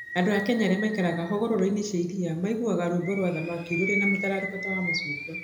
Andũ a Kenya arĩa maikaraga hũgũrũrũ-inĩ cia iria marugaga rwĩmbo rwa thamaki rũrĩ na mũtararĩko wa macungwa.